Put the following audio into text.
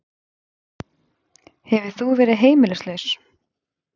Hefur þú verið heimilislaus?